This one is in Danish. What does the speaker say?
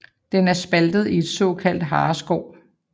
Den er spaltet i et såkaldt hareskår